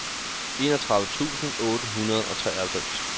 enogtredive tusind otte hundrede og treoghalvfems